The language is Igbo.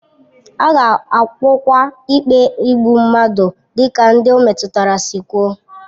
A ga-agwọkwa ikpe igbu mmadụ dịka ndị ọ metụtara si kwuo